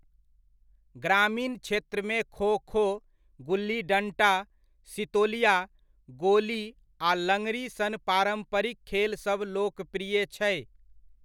ग्रामीण क्षेत्रमे खो खो, गुल्ली डण्टा, सितोलिया, गोली आ लंगड़ी सन पारम्परिक खेलसभ लोकप्रिय छै।